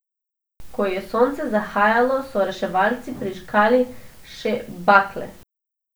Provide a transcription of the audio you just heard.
Ko je sonce zahajalo, so reševalci prižgali še bakle.